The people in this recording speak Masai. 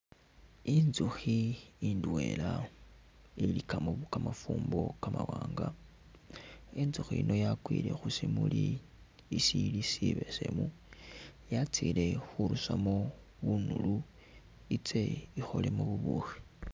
Intsukhi indwela ilikamo kamafumbo kamawanga intsukhi ino yakwile khushimuli ishili shebesemu yastile khurusamo bunulu iste ikholemo bubukhi .